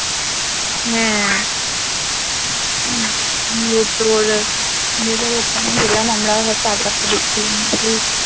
হ্যাঁ ওখানে গেলাম আমরা সব চারপাশটা দেখে